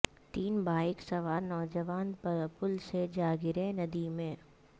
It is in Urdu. تین بائک سوار نوجوان پل سے جاگرے ندی میں